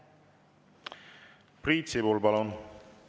Priit Sibul, palun!